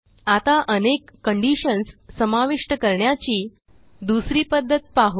आता अनेक कंडिशन्स समाविष्ट करण्याची दुसरी पध्दत पाहू